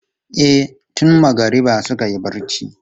E, tun magariba suka yi barci.